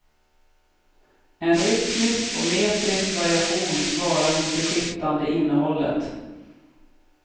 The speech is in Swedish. En rytmisk och metrisk variation svarar mot det skiftande innehållet.